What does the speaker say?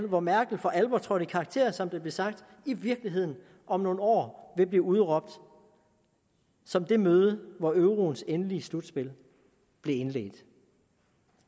hvor merkel for alvor trådte i karakter som der blev sagt i virkeligheden om nogle år vil blive udråbt som det møde hvor euroens endelige slutspil blev indledt